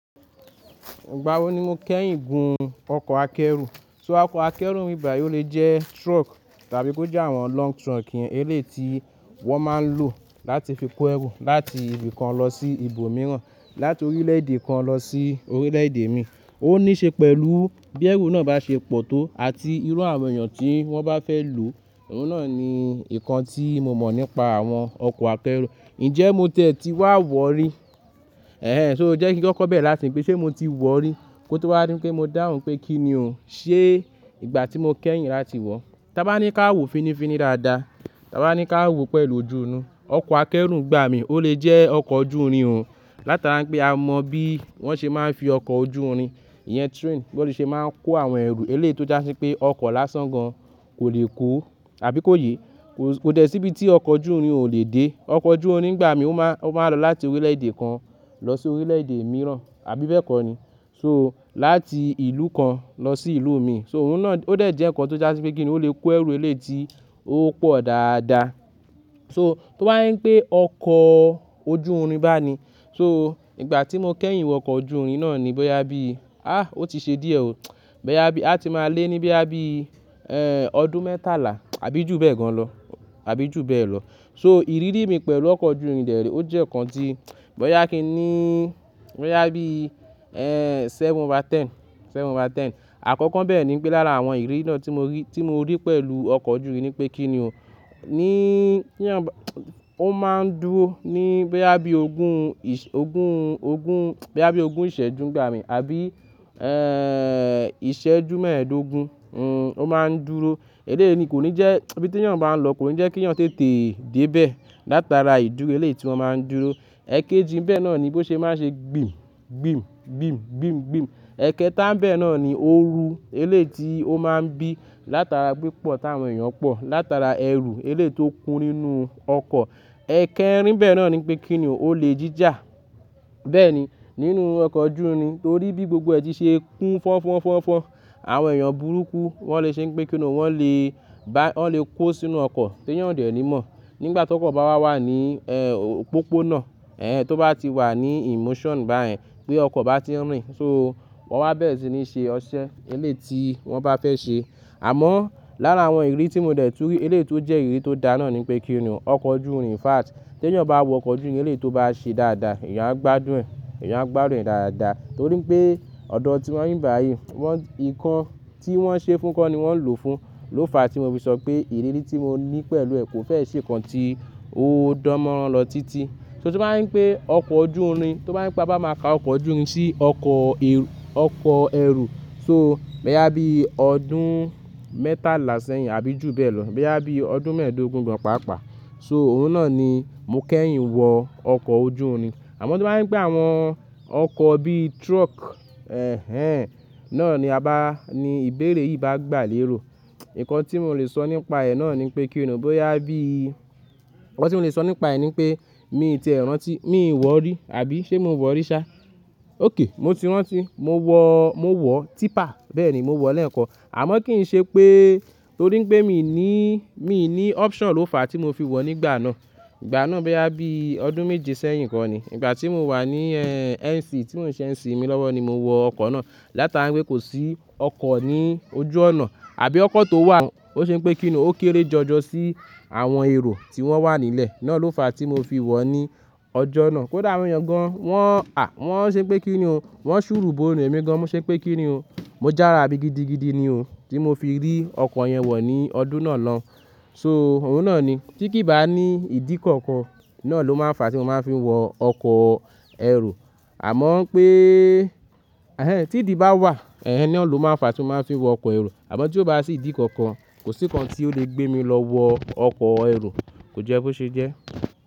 Ìgbà wo ni mo kẹ́yìn gun ọkọ̀ akẹ́rù? So ọkọ̀ akẹ́rù ńbí báyi ò lè jẹ́ truck tàbí kó jẹ́ àwọn long truck yẹn, eléyìí ti wọn máa ń lò láti fi kó ẹrù láti ibi kan lọ sí ibòmíràn, láti orílẹ̀èdè kan lọ sí orílẹ̀èdè mi. Ó nííṣe pẹ̀lú bí ẹrù náà bá ṣe pọ̀ tó àti irú àwọn èèyàn tí wọ́n bá fẹ́ lòó. Òun náà ni ìkan tí mo mọ̀ nípa àwọn ọkọ̀ akẹ́rù. Ǹjẹ́ mo tẹ́ẹ́ ti wá wọ́ rí? Ẹ̀hẹn, so o jẹ́ kí wọn kọ̀kọ́ bẹ̀rẹ̀ láti pè ṣe mo ti wọ̀ rí kó tó wá dí pé mo dáhùn pé kí ni ò. Ṣé ìgbà tí mo kẹ́yìn làti wọ́? Tà bá ní ká wò finifini dáadáa, tà bá ní ká wò pẹ̀lú ojú inú. Ọkọ̀ akẹ́rù ń gbà mí, ó lè jẹ́ ọkọ̀ ojú irin òun. Látara pé a mọ bí wọ́n ṣe máa ń fi ọkọ̀ ojú irin, ìyẹn train, bó ṣe máa ń kó àwọn ẹrù eléyìí ó jásí pé ọkọ̀ lásán gan kò lè kó àbí kóye. Kò, kò dẹ síbi tí ọkọ̀ ojú irin ò lè dé. Ọkọ̀ ojú irin ń gbà mí, ó máa, ó máa ń lọ láti orílẹ̀èdè kan lọ sí orílẹ̀èdè mìíràn àbí bẹ́ẹ̀ kọ́ ni. So láti ìlú kan lọ sí ìlú mi. So òun náà ó dẹ̀ jẹ́ ǹkan tó jásí pé kí ni òun lè kó ẹrù eléyìí tí ó pọ̀ dáadáa. So tó bá ń pé ọkọ̀ ojú irin bá ni, so ìgbà tí mo kẹ́yìn wọ ọkọ̀ ojú irin náà ni bóyá bí, àh! Ó ti ṣe díẹ̀ ò. Bóyá bí a ti máa lé ní bí i, ẹ́ẹ́, ọdún mẹ́tàlá àbí jù bẹ́ẹ̀ gan lọ àbí jù bẹ́ẹ̀ lọ. So ìrírí mi pẹ̀lú ọkọ̀ ojú irin dẹ̀ ré ó jẹ́ ǹkan tí bóyá kí ní, bóyá bí, ẹ́ẹ́, seven out of ten, seven out of ten. Àkọ́kọ́ bẹ́ẹ̀ ni pé lára àwọn ìrírí náà tí mo rí, tí mo rí pẹ̀lú ọkọ̀ ojú irin ni pé kí ni ò, níí, kí ń bá, ó máa ń dúró ní bí i ọdún ogún, ogún, ogún, bí i ọdún ìṣẹ́jú ń gbà mí àbí, ẹ́ẹ́, ìṣẹ́jú mẹ́ẹ̀ẹ́dógún, hm, ó máa ń dúró. Eléyìí ni kò ní jẹ́, ibi tí èèyàn bá ń lọ kò ní jẹ́ kí èèyàn tètè dé bẹ́ẹ̀ látara ìdúró eléyìí ti wọn máa ń dúró. Ẹ̀kéjì bẹ́ẹ̀ náà ni bó ṣe máa ṣe gbìm, gbìm, gbìm, gbìm, gbìm. Ẹ̀kẹta bẹ́ẹ̀ náà ni óoru eléyìí ti ó máa ń bí látara pípọ̀ táwọn èèyàn pọ̀, látara ẹrù eléyìí ti ó kún nínú ọkọ̀. Ẹ̀kẹrin nbẹ́ẹ̀ náà ni pé kí ni ò, ólè jíjà. Bẹ́ẹ̀ ni nínú ọkọ̀ ojú irin torí bí gbogbo ẹ̀ ti ṣe ń kún fọ́n fọ́n fọ́n fọ́n. Àwọn èèyàn burúkú wọ́n lè ṣe pé kí ni ò, wọ́n lè bá, wọ́n lè kó sínú ọkọ̀ tí èèyàn dẹ̀ ní mọ̀. Nígbà tó kọ̀ bá wà wà ní, ẹ́ẹ́, òpópónà, ẹ́ẹ́, tó bá ti wà ní inmoṣonu báyẹn pé ọkọ̀ bá ti ń rìn so wọ́n wá bẹ́rẹ̀ sì ni ṣe ọṣẹ eléyìí ti wọ́n bá fẹ́ ṣe. Àmọ́ lára àwọn ìrírí tí mo dẹ̀ tú rí elééti ó jẹ́ ìrírí tó da náà ni pé kí ni ò, ọkọ̀ ojú ìrìn in fact tí èèyàn bá wọ ọkọ̀ ojú irin eléyìí ti ó bá ṣe dáadáa, èèyàn á gbádùn, èèyàn á gbádùn ẹ̀ dáadáa. Torí pé ọ̀dọ̀ tíwa ń'bi bá yi, wọ́n, ǹkan tí wọ́n ṣe fún kọ́ ni wọ́n ń lò fún. Ló fa tí mo fi sọ pé ìrírí tí mo ní pẹ̀lú ẹ̀ kò fẹ́ ṣe ǹkan tí ó dánmọ́ran lọ títí. So tí wọ́n ń pé ọkọ̀ ojú irin, tí wọ́n ń pé bá máa ka ọkọ̀ ojú irin sí ọkọ̀ ẹrù, so bóyá bí ọdún mẹ́tàlá sẹ́yìn àbí jù bẹ́ẹ̀ lọ, bóyá bí ọdún mẹ́ẹ̀ẹ́dógún gan pàápàá. So òun náà ni mo kẹ́yìn wọ ọkọ̀ ojú irin. Àmọ́ to bá jẹ́ ń pé àwọn ọkọ̀ bí truck, ẹ́ẹ́, náà ni a bá, ni ìbéèrè yìí bá gbà léèrò, ǹkan tí mò le sọ nípa ẹ̀ náà ni pé kí ni òun, bóyá bí, ǹkan tí mò le sọ nípa ẹ̀ ni pé mi tiẹ̀ rántí, mi wọ̀ rí àbí ṣé mo wọ̀ rí ṣá? Óké, mo ti rántí, mo wọ, mo wọ típa bẹ́ẹ̀ ni mo wọ̀ lẹ́ẹ̀kan. Àmọ́ kì í ṣe pé torí pé mi ò ní, mi ò ní option ló fa tí mo fi wọ̀ nígbà náà. Ìgbà náà bóyá bí ọdún méje sẹ́yìn kọ́ ni. Ìgbà tí mo wà ní, ẹ́ẹ́, NC tí mò ń ṣe NC mi lọ́wọ́ ni mo wọ ọkọ̀ náà. Látara pé kò sí ọkọ̀ ní ojú ọ̀nà àbí ọkọ̀ tó wà, ó ṣe pé kí ni òun ó kéré jọjọ sí àwọn èrò tí wọ́n wà nílẹ̀. Náà ló fa tí mo fi wọ̀ ní ọjọ́ náà. Kódà àwọn èèyàn gan wọ́n, à, wọ́n ṣe pé kí ni ò, wọ́n ń ṣùrú bo nì èmi gan, mo ṣe pé kí ni ò, mo jára bí gidi gidi ni o tí mo fi rí ọkọ̀ yẹn wọ̀ ní ọdún náà lọun. So òun náà ni tí kì í bá ní ìdí kankan náà ló máa ń fa tí mo máa fi wọ ọkọ̀ ẹrù. Àmọ́ pé, ẹ́ẹ́, tí ìdí bá wà, ẹ́ẹ́, ni ó ló máa ń fa tí mo máa fi wọ ọkọ̀ ẹrù. Àmọ́ tí ó bá sì ìdí kankan, kò sí ǹkan tí ó lè gbé mi lọ wọ ọkọ̀ ẹrù kò jẹ́ bó ṣe jẹ́.